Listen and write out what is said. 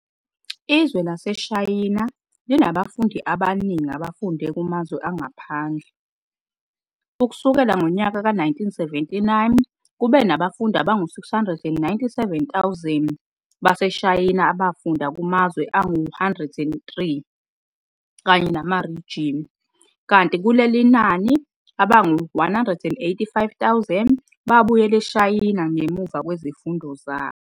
Izwe laseShayina linabafundi abaningi abafunda kumazwe angaphandle, ukusukela ngonyaka ka 1979 kube nabafundi abangu 697 000 baseShayina abafunda kumzwe angu 103 kanye namarijini, kanti kulelinani, abangu 185 000 babuyele eShayina ngemuva kwezifundo zabo.